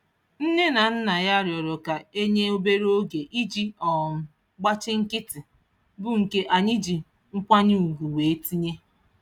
Nne na nna ya rịọrọ ka e nye obere oge iji um gbachi nkịtị, bụ nke anyị ji nkwanye ugwu wee tinye.